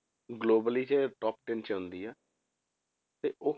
globally ਇਹ top ten 'ਚ ਆਉਂਦੀ ਆ, ਤੇ ਉਹ